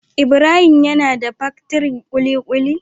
Ibrahim him yana da paktirin kulikuli.